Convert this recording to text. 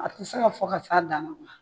A tɛ se ka fɔ ka se a dan la.